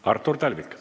Artur Talvik.